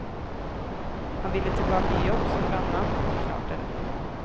Han ville tilbake i jobb som brannmann, og klarte det.